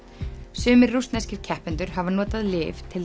sumir rússneskir keppendur hafa notað lyf til